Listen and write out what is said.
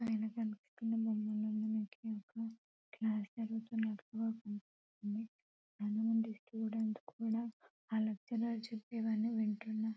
పైన కనిపిస్తున్న బొమ్మలోన మనకి క్లాస్ జరుగుతుందని అర్ధమవుతుంది చాలా మంది స్టూడెంట్స్ కూడా ఆ లెక్చలర్ చేపినవన్నీ వింటున్నారు --